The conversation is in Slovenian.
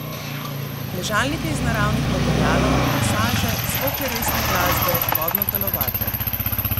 Ležalnike iz naravnih materialov, masaže, zvoke resne glasbe, vodno telovadbo ...